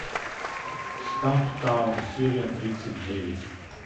стамптаун серия тридцать девять